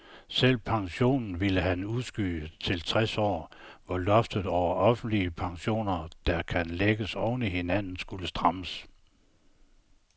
Selve pensionen ville han udskyde til tres år, hvor loftet over offentlige pensioner, der kan lægges oven i hinanden, skulle strammes.